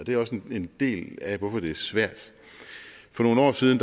det er også en del af hvorfor det er svært for nogle år siden